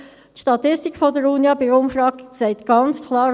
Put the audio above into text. Aus der Umfrage zeigt die Statistik der Unia ganz klar: